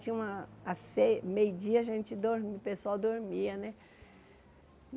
Tinha uma... A ce meio dia a gente dor, o pessoal dormia, né?